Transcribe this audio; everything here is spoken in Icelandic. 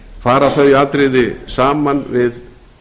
fara þau atriði saman við